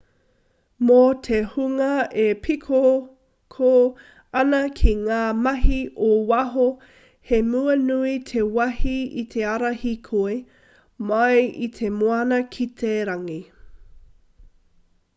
mō te hunga e pīkoko ana ki ngā mahi ō waho he mea nui te wahi i te ara hīkoi mai i te moana ki te rangi